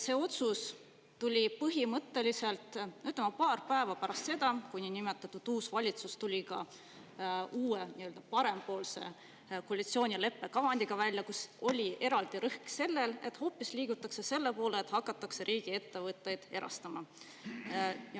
See otsus tuli põhimõtteliselt paar päeva pärast seda, kui niinimetatud uus valitsus tuli välja uue, parempoolse koalitsioonileppe kavandiga, kus oli eraldi rõhk sellel, et liigutakse hoopis selle poole, et hakatakse riigiettevõtteid erastama.